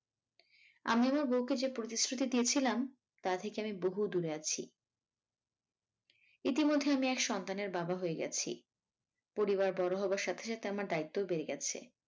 আমি আমার বউকে যে প্রতিশ্রুতি দিয়েছিলাম তা থেকে আমি বহু দূরে আছি ইতিমধ্যে আমি এক সন্তানের বাবা হয়ে গেছি পরিবার বড় হবার সাথে সাথে আমার দ্বায়িত্বও বেড়ে গেছে ।